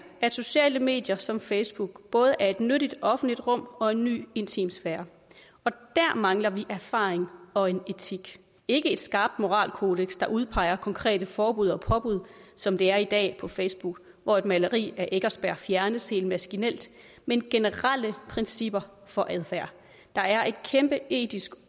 at sociale medier som facebook både er et nyt offentligt rum og en ny intimsfære og der mangler vi erfaring og en etik ikke et skarpt moralkodeks der udpeger konkrete forbud og påbud som det er i dag på facebook hvor et maleri af eckersberg fjernes helt maskinelt men generelle principper for adfærd der er et kæmpe etisk